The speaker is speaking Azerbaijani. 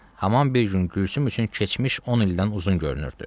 Haman bir gün Gülsüm üçün keçmiş 10 ildən uzun görünürdü.